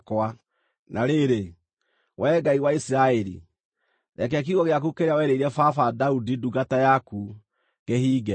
Na rĩrĩ, Wee Ngai wa Isiraeli, reke kiugo gĩaku kĩrĩa werĩire baba, Daudi ndungata yaku, kĩhinge.